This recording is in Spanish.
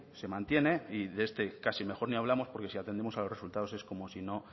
se mantiene y de este casi mejor ni hablamos porque si atendemos a los resultados es como si no